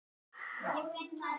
Tók upp skeiðina og potaði í hann.